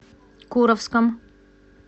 куровском